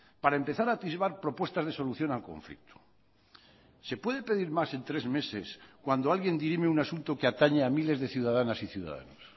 para empezar a atisbar propuestas de solución al conflicto se puede pedir más en tres meses cuando alguien dirime un asunto que atañe a miles de ciudadanas y ciudadanos